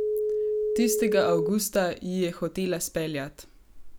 Tistega Avgusta ji je hotela speljat.